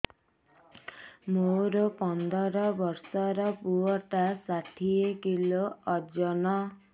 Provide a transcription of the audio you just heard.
ମୋର ପନ୍ଦର ଵର୍ଷର ପୁଅ ଟା ଷାଠିଏ କିଲୋ ଅଜନ